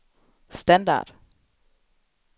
standard